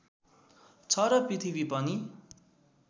छ र पृथ्वी पनि